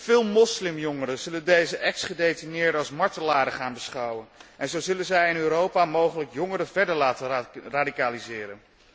Veel moslimjongeren zullen deze ex gedetineerden als martelaren gaan beschouwen en zo zullen zij in Europa mogelijk jongeren verder laten radicaliseren.